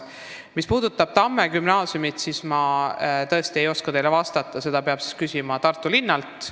Mis puudutab Tamme gümnaasiumi, siis ma tõesti ei oska teile vastata, seda peab küsima Tartu linnalt.